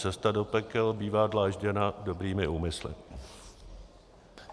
Cesta do pekel bývá dlážděna dobrými úmysly.